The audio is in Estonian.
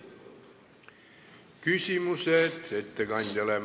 Küsimused ettekandjale.